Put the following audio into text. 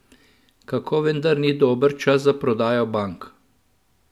Kako vendar ni dober čas za prodajo bank?